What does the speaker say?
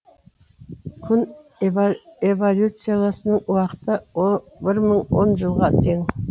күн эволюцияласының уақыты бір мың он жылға тең